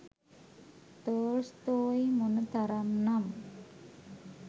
Tolstoy මොන තරම් නම්